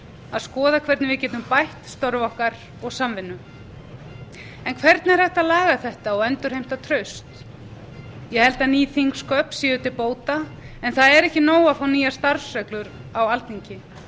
að skoða hvernig við getum bætt störf okkar og samvinnu hvernig er hægt að laga þetta og endurheimta traust ég held að ný þingsköp séu til bóta en það er ekki nóg að fá nýjar starfsreglur á alþingi